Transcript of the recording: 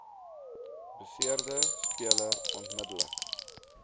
beseerde speler onmiddellik